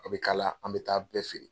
A bɛ kala an bɛ t'a bɛɛ feere.